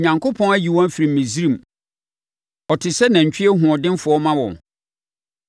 Onyankopɔn ayi wɔn afiri Misraim; ɔte sɛ nantwie hoɔdenfoɔ ma wɔn.